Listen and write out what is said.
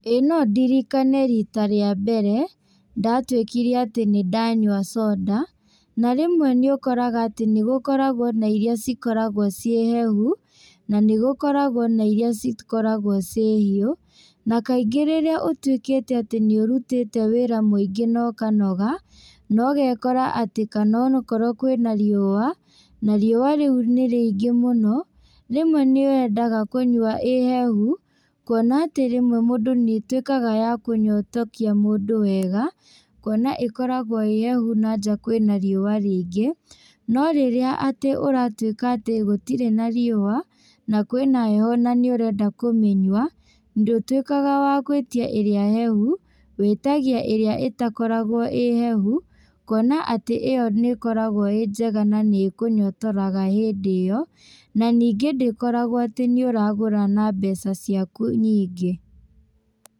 Ĩĩ no ndirikane rita rĩa mbere, ndatuĩkire atĩ nĩndanyua soda, na rĩmwe nĩũkoraga atĩ nĩgũkoragwo na iria cikoragwo ciĩ hehu, na nĩgũkoragwo na iria cikoragwo ciĩ hiũ, na kaingĩ rĩrĩa ũtuĩkĩte atĩ nĩũrutĩte wĩra mũingĩ na ũkanoga, na ũgekora kana onokorwo kwĩna riũa, na riũa rĩu nĩ rĩingĩ mũno, rĩmwe nĩwendaga kũnyua ĩ hehu, kuona atĩ rĩmwe nĩtuĩkaga wa kũnyotokia mũndũ wega, kuona ĩkoragwo ĩ hehu na nja kwĩna riũa rĩingĩ, no rĩrĩa atĩ ũratuĩka atĩ gũtirĩ na riũa, na kwĩna heho na nĩũrenda kũmĩnyua, ndũtuĩkaga wa gwĩtia ĩrĩa hehu, wĩtagia ĩrĩa ĩtakoragwo ĩ hehu, kuona atĩ ĩyo nĩkoragwo ĩ njega na nĩ ĩkũnyotoraga hĩndĩ ĩyo, na ningĩ ndĩkoragwo atĩ nĩũragũra na mbeca ciaku nyingĩ.